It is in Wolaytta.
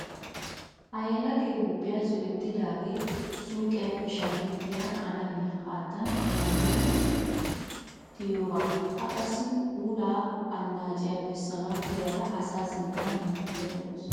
Ha yelagee Huuphiya zo'ettidaagee suyiqiyaappe shamettiya qalamiya haattan maaridi tiyoogaa. A qassi puulaa annaaciya bessanawu koyyada asaa sinttan hemettayidda dawusu.